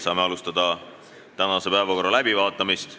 Saame alustada tänase päevakorra läbivaatamist.